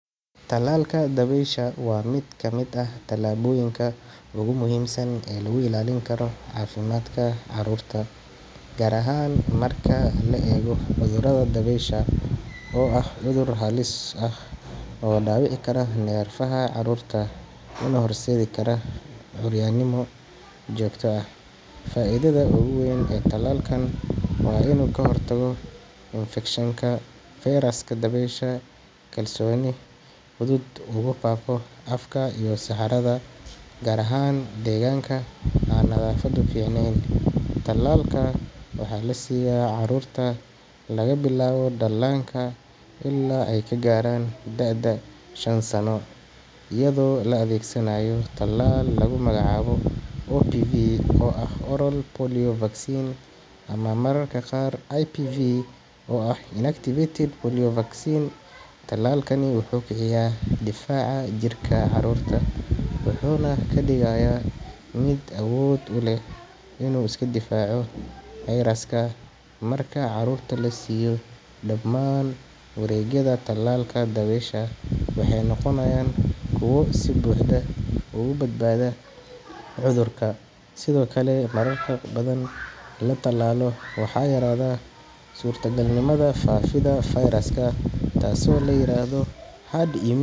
Talalka dabaysha waa mid ka mid ah tallaabooyinka ugu muhiimsan ee lagu ilaalin karo caafimaadka carruurta, gaar ahaan marka la eego cudurka dabaysha oo ah cudur halis ah oo dhaawici kara neerfaha carruurta una horseedi kara curyaannimo joogto ah. Faaiidada ugu weyn ee talalkan waa inuu ka hortago infekshanka fayraska dabaysha, kaasoo si fudud ugu faafo afka iyo saxarada, gaar ahaan deegaanka aan nadaafaddu fiicnayn. Talalka waxaa la siiyaa carruurta laga bilaabo dhallaanka ilaa ay ka gaaraan da’da shan sano, iyadoo la adeegsanayo tallaal lagu magacaabo OPV oo ah Oral Polio Vaccine ama mararka qaar IPV oo ah Inactivated Polio Vaccine. Talalkani wuxuu kiciyay difaaca jirka carruurta, wuxuuna ka dhigayaa mid awood u leh inuu iska difaaco fayraska. Marka carruurta la siiyo dhammaan wareegyada tallaalka dabaysha, waxay noqonayaan kuwo si buuxda uga badbaada cudurka. Sidoo kale, marka dad badan la tallaalo, waxaa yaraada suurtogalnimada faafidda fayraska, taasoo la yiraahdo herd.